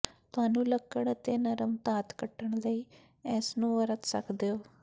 ਤੁਹਾਨੂੰ ਲੱਕੜ ਅਤੇ ਨਰਮ ਧਾਤ ਕੱਟਣ ਲਈ ਇਸ ਨੂੰ ਵਰਤ ਸਕਦੇ ਹੋ